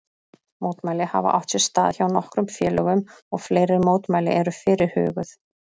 Mótmæli hafa átt sér stað hjá nokkrum félögum og fleiri mótmæli eru fyrirhuguð.